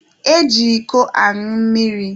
E ji iko añụ mmiri.